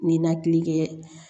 Ninakili kɛ